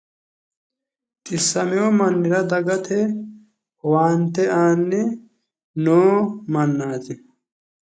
Xissamiwo mannira dagate owaante aanni noo mannaati.